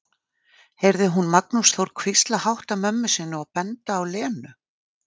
heyrði hún Magnús Þór hvísla hátt að mömmu sinni og benda á Lenu.